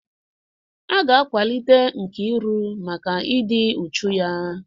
A ga-akwalite Nkiru maka ịdị uchu ya.